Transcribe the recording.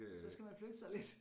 Så skal man flytte sig lidt